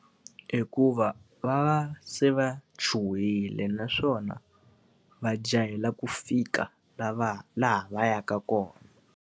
Hikuva va se va chuhile naswona va jikela ku fika laha va yaka kona.